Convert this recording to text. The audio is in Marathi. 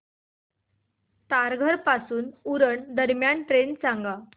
तारघर पासून उरण दरम्यान ट्रेन सांगा